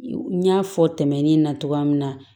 N y'a fɔ tɛmɛnen na cogoya min na